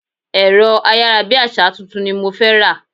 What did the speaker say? Ẹ̀rọ ayárabíàṣá tuntun ni mo fẹ́ rà.